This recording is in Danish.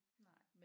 Nej